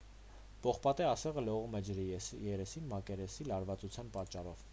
պողպատե ասեղը լողում է ջրի երեսին մակերեսի լարվածության պատճառով